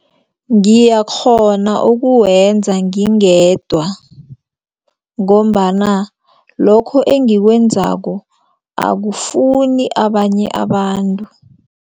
Ngiyakghona ukuwenza ngingedwa ngombana lokho engiwenzako akufuni abanye abantu.